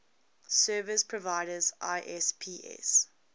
service providers isps